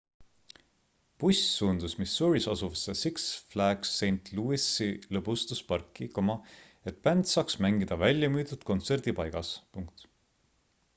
buss suundus missouris asuvasse six flags st louis'i lõbustusparki et bänd saaks mängida väljamüüdud kontserdipaigas